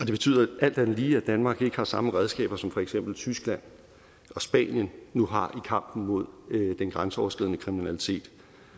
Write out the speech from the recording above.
det betyder alt andet lige at danmark ikke har samme redskaber som for eksempel tyskland og spanien nu har i kampen mod den grænseoverskridende kriminalitet